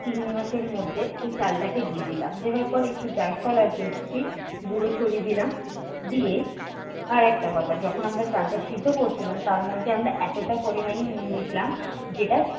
চিংড়িমাছের মধ্যে এই চালটাকে দিয়ে দিলাম। দেওয়ার পর একটু জায়ফল আর জৈত্রি গুঁড়ো ছড়িয়ে দিলাম দিয়ে আর একটা কথা যখন আমরা চালটা সিদ্ধ করছিলাম তার মধ্যে আমরা এতটা পরিমাণেই নুন দিয়েছিলাম যেটা